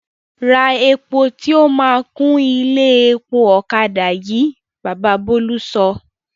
Ra epo tí o máa kún ilé epo ọ̀kadà yìí! Baba Bólú sọ.